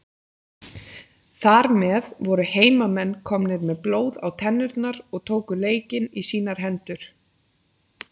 Þar með voru heimamenn komnir með blóð á tennurnar og tóku leikinn í sínar hendur.